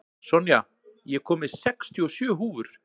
Sonja, ég kom með sextíu og sjö húfur!